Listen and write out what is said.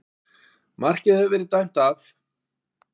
Markið hafði verið dæmt af